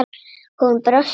Hún brosti fegin.